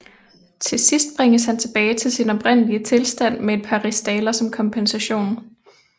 Til sidst bringes han tilbage til sin oprindelige tilstand med et par rigsdaler som kompensation